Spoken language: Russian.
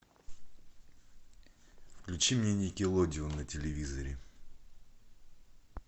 включи мне никелодеон на телевизоре